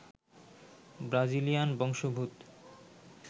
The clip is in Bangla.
ব্রাজিলিয়ান বংশোদ্ভূত